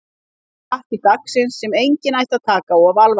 Hér er pakki dagsins sem enginn ætti að taka of alvarlega.